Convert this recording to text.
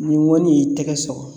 Ni ŋɔni y'i tɛgɛ sɔgɔ